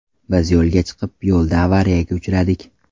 Biz yo‘lga chiqib, yo‘lda avariyaga uchradik”.